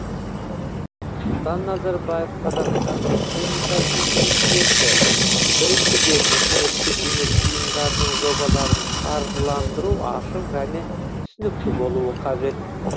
нұрсұлтан назарбаев қазақстан республикасының президенті біріншіден үкіметтік емес ұйымдардың жобаларын қаржыландыру ашық және түсінікті болуы қажет